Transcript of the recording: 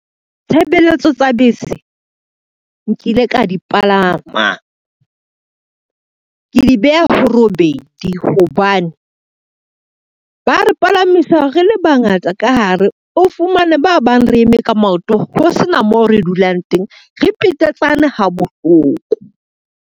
Tshebeletso tsa bese, nkile ka di palama, ke di beha robedi hobane ba re palamisa re le bangata ka hare, o fumane ba bang re eme ka maoto ho sena moo re dulang teng, re petetsane ha bohloko.